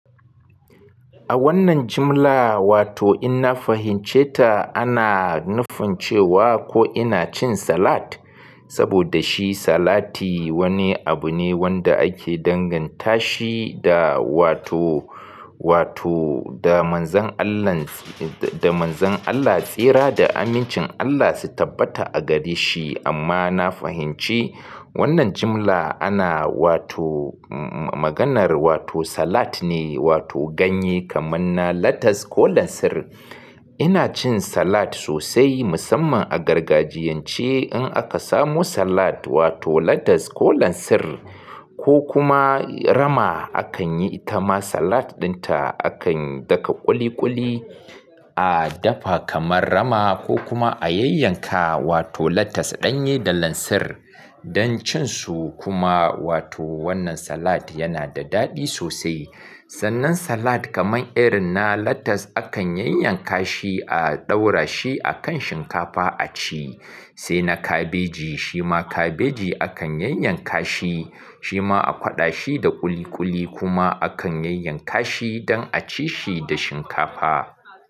A wannan jimla, wato in na fahimce ta, ana nufin cewa ko ina cin salad? Saboda shi salati wani abu ne wanda ake danganta shi da wato, wato da manzan Allah tsira da amincin Allah su tabbata a gare shi. Amma na fahimci wannan jimla ana wato, maganar wato salad ne wato ganye kamar na latas ko lansir. Ina cin salad sosai musamman a gargajiyance in aka samu salad wato lettuce ko lansir ko kuma rama akan yi ta ma salad dinta, akan daka ƙuli ƙuli a dafa kamar rama ko kuma a yanyanka wato latas ɗanye da lansir don cin su kuma wato wannan salad yana da daɗi sosai. Sannan salad kamar irin na latas akan yanyanka shi a ɗaura shi a kan shinkafa a ci. Sai na kabeji, shi ma kabeji akan yanyanka shi, shi ma a kwaɗa shi da ƙuli ƙuli kuma akan yanyanka shi don a ci shi da shinkafa.